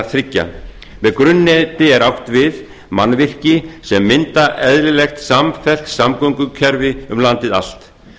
þriggja með grunnneti er átt við mannvirki sem mynda eðlilegt samfellt samgöngukerfi um landið allt